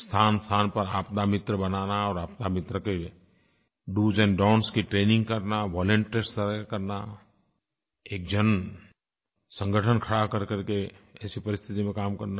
स्थानस्थान पर आपदामित्र बनाना और आपदामित्र के doएस donटीएस की ट्रेनिंग करना वॉलंटियर्स तय करना एक जनसंगठन खड़ा करकरके ऐसी परिस्थिति में काम करना